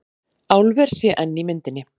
Álver sé enn í myndinni